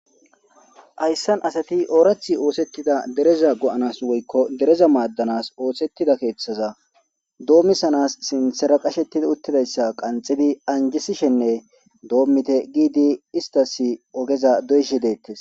Hayssan asati oorathi oosettida dereza go7anas woykko dereza maaddanas oosettida keeththaza doommisanas sintsera qashettidi uttidayssa qanxidi anjisishenne doommite giidi istas ogeza doyshi deettes.